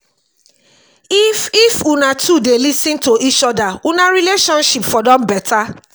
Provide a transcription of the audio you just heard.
if if una two dey lis ten to eachoda una relationship for don beta.